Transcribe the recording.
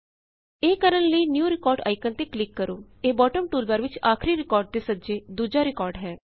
ਇਹ ਕਰਣ ਲਈ ਨਿਊ ਰਿਕਾਰਡ ਆਇਕਨ ਤੇ ਕਲਿਕ ਕਰੋ ਇਹ ਬੌਟਮ ਟੂਲਬਾਰ ਵਿਚ ਆਖਰੀ ਰਿਕਾਰਡ ਦੇ ਸੱਜੇ ਦੂਜਾ ਰਿਕਾਰਡ ਹੈ